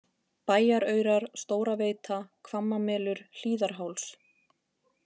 Bæjaraurar, Stóraveita, Hvammamelur, Hlíðarháls